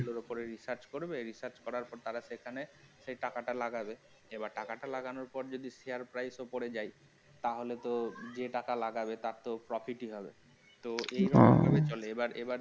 এর ওপরে research করবে research করার পর তারা সেখানে সেই টাকাটা লাগাবে এবার টাকাটা লাগানোর পরে যদি share price পড়ে যায় তাহলে তো যে টাকা লাগাবে তার তো profit হবে না তে ও